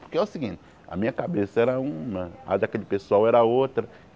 Porque é o seguinte, a minha cabeça era uma, a daquele pessoal era outra.